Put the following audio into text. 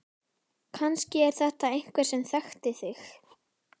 Kannski er þetta einhver sem þekkti þig.